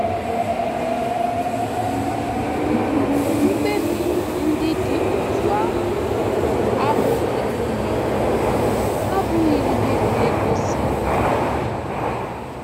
Mkpebi ndị dị otú ahụ abụghị ihe abụghị ihe na-egosi ọdịda.